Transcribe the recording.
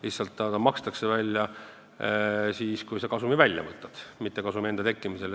Lihtsalt ta makstakse välja siis, kui kasum välja võetakse, mitte kasumi tekkimisel.